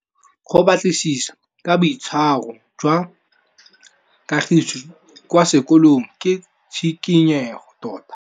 Go batlisisa ka boitshwaro jwa Kagiso kwa sekolong ke tshikinyêgô tota.